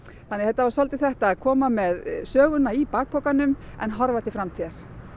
þannig að þetta var svolítið þetta að koma með söguna í bakpokanum en horfa til framtíðar